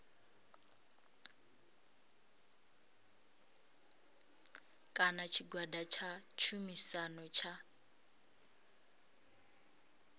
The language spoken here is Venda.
kana tshigwada tsha tshumisano tsha